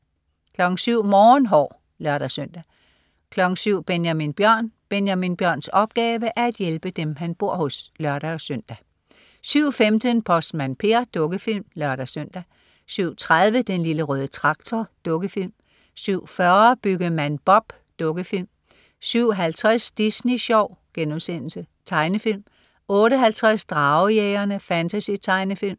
07.00 Morgenhår (lør-søn) 07.00 Benjamin Bjørn. Benjamin Bjørns opgave er at hjælpe dem han bor hos (lør-søn) 07.15 Postmand Per. Dukkefilm (lør-søn) 07.30 Den lille røde traktor. Dukkefilm 07.40 Byggemand Bob. Dukkefilm 07.50 Disney Sjov.* Tegnefilm 08.50 Dragejægerne. Fantasy-tegnefilm